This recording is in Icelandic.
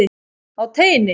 Á teini.